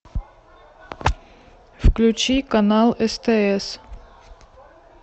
включи канал стс